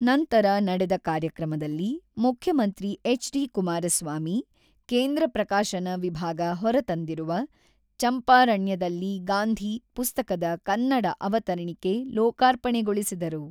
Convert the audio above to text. ನಂತರ ನಡೆದ ಕಾರ್ಯಕ್ರಮದಲ್ಲಿ ಮುಖ್ಯಮಂತ್ರಿ ಎಚ್.ಡಿ.ಕುಮಾರಸ್ವಾಮಿ, ಕೇಂದ್ರ ಪ್ರಕಾಶನ ವಿಭಾಗ ಹೊರ ತಂದಿರುವ, 'ಚಂಪಾರಣ್ಯದಲ್ಲಿ ಗಾಂಧಿ ಪುಸ್ತಕದ ಕನ್ನಡ ಅವತರಿಣಿಕೆ ಲೋಕಾರ್ಪಣೆಗೊಳಿಸಿದರು.